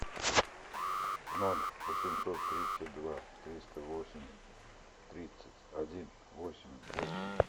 ноль восемьсот тридцать два триста восемь тридцать один восемь восемь